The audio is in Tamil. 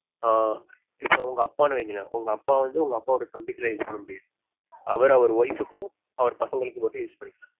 ஆஹ் இப்போ உங்க அப்பான்னு வைங்களே உங்க அப்பா வந்து உங்க அப்பாவோட தம்பிக்கெல்லாம் use பண்ண முடியாது அவர் அவர் wife க்கும் அவர் பசங்களுக்கு மட்டும் use பண்ணிக்கலாம்